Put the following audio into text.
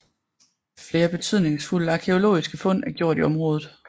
Flere betydningsfulde arkæologiske fund er gjort i området